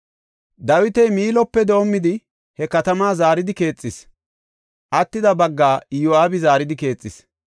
Dawiti Miilope doomidi he katamaa zaaridi keexis; attida baggaa Iyo7aabi zaaridi keexis.